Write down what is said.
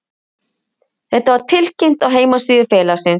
Þetta var tilkynnt á heimasíðu félagsins